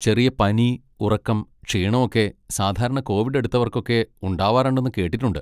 ചെറിയ പനി, ഉറക്കം, ക്ഷീണം ഒക്കെ സാധാരണ കോവിഡ് എടുത്തവർക്കൊക്കെ ഉണ്ടാവാറുണ്ടെന്ന് കേട്ടിട്ടുണ്ട്.